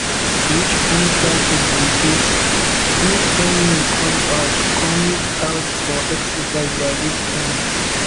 which kin traffic be diswho send me come out come out for exercise by dis time